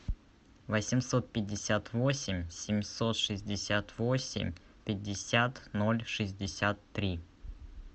восемьсот пятьдесят восемь семьсот шестьдесят восемь пятьдесят ноль шестьдесят три